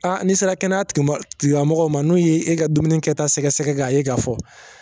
Aa n n'i sera kɛnɛyatigi kɛnɛya tigilamɔgɔw ma n'u y'i ka dumuni kɛ ta sɛgɛsɛgɛ nka ye ga fɔ